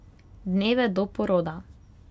Dneve do poroda.